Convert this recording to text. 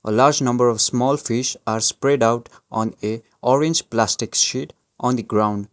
a large number of small fish are spreadout on a orange plastic sheet on the ground.